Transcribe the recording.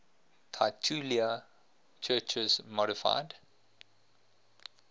titular churches modified